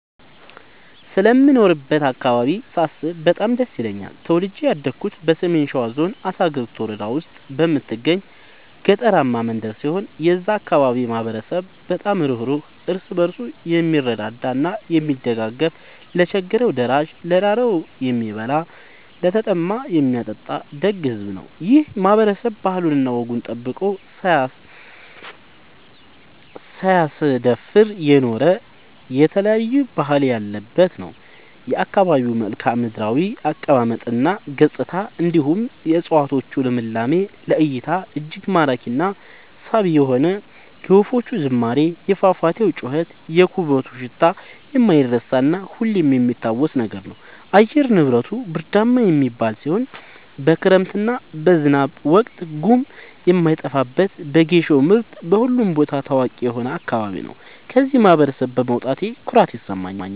ስለምኖርበት አካባቢ ሳስብ በጣም ደስ ይለኛል። ተወልጄ ያደኩት በሰሜን ሸዋ ዞን አሳግርት ወረዳ ውስጥ በምትገኝ ገጠራማ መንደር ሲሆን የዛ አካባቢ ማህበረሰብ በጣም ሩህሩህ ÷ እርስ በርሱ የምረዳዳ እና የሚደጋገፍ ለቸገረው ደራሽ ÷ ለራበው የሚያበላ ÷ለተጠማ የሚያጠጣ ደግ ሕዝብ ነው። ይህ ማህበረሰብ ባህሉን እና ወጉን ጠብቆ ሳያስደፍር የኖረ የተለያየ ባህል ያለበት ነው። የአካባቢው መልከዓምድራው አቀማመጥ እና ገጽታ እንዲሁም የ እፀዋቶቹ ልምላሜ ለ እይታ እጅግ ማራኪ እና ሳቢ የሆነ የወፎቹ ዝማሬ የፏፏቴው ጩኸት የኩበቱ ሽታ የማይረሳ እና ሁሌም የሚታወስ ነገር ነው። አየር ንብረቱ ብርዳማ የሚባል ሲሆን በክረምት እና በዝናብ ወቅት ጉም የማይጠፋበት በጌሾ ምርት በሁሉም ቦታ ታዋቂ የሆነ አካባቢ ነው። ከዚህ ማህበረሰብ በመውጣቴ ኩራት ይሰማኛል።